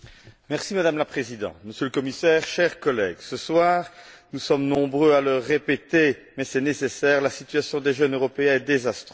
Madame la Présidente, Monsieur le Commissaire, chers collègues, ce soir, nous sommes nombreux à le répéter, mais c'est nécessaire la situation des jeunes Européens est désastreuse.